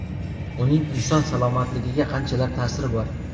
Uning inson salomatligiga qanchalar ta’siri bor?